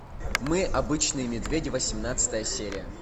мы обычные медведи восемнадцатая серия